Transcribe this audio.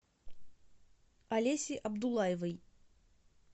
олеси абдуллаевой